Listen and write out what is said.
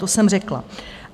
To jsem řekla.